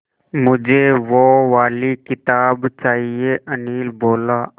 मुझे वो वाली किताब चाहिए अनिल बोला